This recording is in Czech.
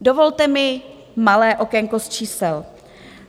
Dovolte mi malé okénko z čísel.